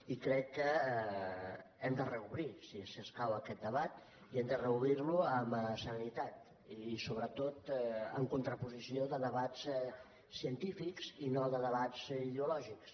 i crec que hem de reobrir si escau aquest debat i hem de reobrir lo amb serenitat i sobretot en contraposició de debats científics i no de debats ideològics